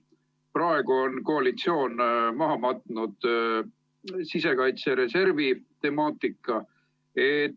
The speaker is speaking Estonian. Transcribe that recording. Praegu on koalitsioon maha matnud sisekaitse reservi temaatika.